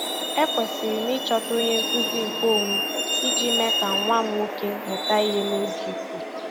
Ekwesịrị m ịchọta onye nkuzi nkeonwe iji mee ka nwa m nwoke mụta ihe n'oge iku.